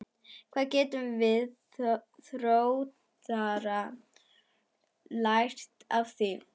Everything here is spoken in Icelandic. Hvað getum við Þróttarar lært af því?